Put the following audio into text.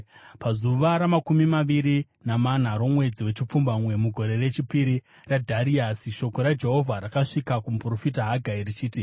Pazuva ramakumi maviri namana romwedzi wechipfumbamwe, mugore rechipiri raDhariasi, shoko raJehovha rakasvika kumuprofita Hagai, richiti,